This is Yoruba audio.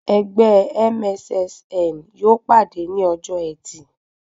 Ẹgbẹ́ MSSN yóò pàdé ní ọjọ́ ẹtì